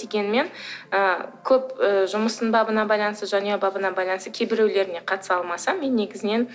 дегенмен ы көп ы жұмыстың бабына байланысты және бабына байланысты кейбіреулеріне қатыса алмасам мен негізінен